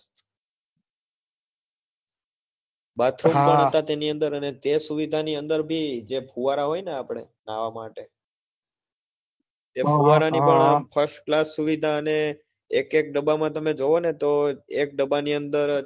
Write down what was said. તેની અંદર અને તે સુવિધા ની અંદર ભી જે ફુવારા હોય ને આપડે નાવા માટે તે ફુવારા ની પણ first class સુવિધા અને એક એક ડબ્બા માં તમે જોવો ને તો એક ડબ્બા ની અંદર